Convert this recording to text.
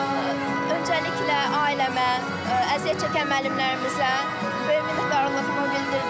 Öncəliklə ailəmə, əziyyət çəkən müəllimlərimizə böyük minnətdarlığımı bildirirəm.